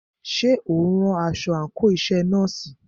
Ṣé o ń rán aṣọ àńkò iṣẹ nọ́ọ̀sì?